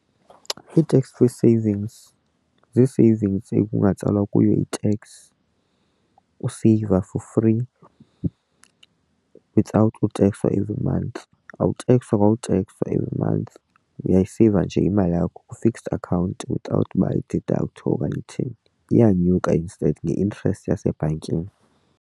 I-tax free savings zii-savings ikungatsalwa kuyo i-tax useyiva for free without ukutekswa every month. Awutekswa kwa utekswa uyayiseyiva nje imali yakho kwi-fixed account without ididakthwe okanye uthini iyanyuka instead nge-interest yasebhankini.